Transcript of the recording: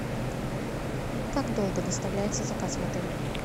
как долго доставляется заказ в отеле